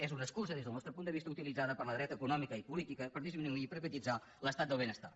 és una excusa des del nostre punt de vista utilitzada per la dreta econòmica i política per disminuir i precaritzar l’estat del benestar